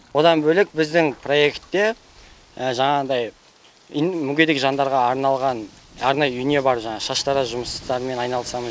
одан бөлек біздің проектте жаңағыдай мүгедек жандарға арналған арнайы үйіне барып жаңағы шаштараз жұмыстарымен айналысамыз